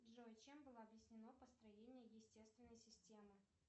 джой чем было объяснено построение естественной системы